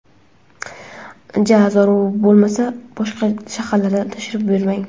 Ja zarur bo‘lmasa boshqa shaharlarga tashrif buyurmang.